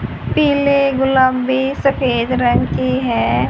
पीले गुलाबी सफेद रंग की है।